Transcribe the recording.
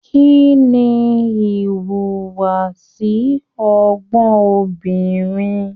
Kínní ìwùwàsi ọgbọn obìnrin?